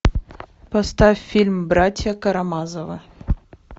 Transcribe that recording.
поставь фильм братья карамазовы